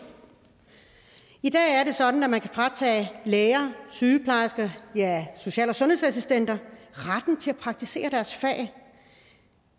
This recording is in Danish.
i dag er det sådan at man kan fratage læger sygeplejersker social og sundhedsassistenter retten til at praktisere deres fag